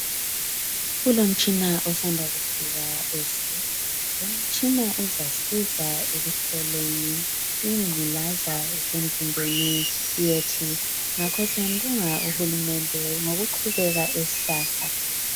Kulomtshina osanda kufika esibhedlela. Lumtshina uzasiza ekuhloleni ingculaza esemzimbeni yethu ngakho siyambonga uhulumende ngokuqhubeka esixhasa.